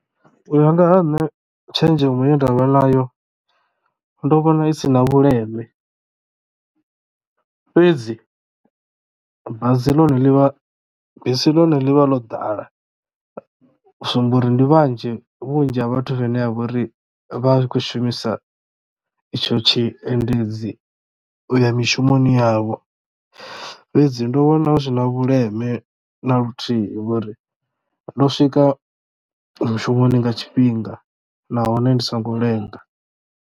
U ya nga ha nṋe tshenzhemo ye ndavha nayo ndo vhona isina vhuleme fhedzi bazi ḽone ḽi vha bisi ḽone ḽi vha ḽo ḓala u sumba uri ndi vhanzhi vhunzhi ha vhathu vhene vha vha uri vha khou shumisa itsho tshiendedzi uya mishumoni yavho fhedzi ndo vhona hu si na vhuleme na luthihi ngori ndo swika mushumoni nga tshifhinga nahone ndi songo lenga.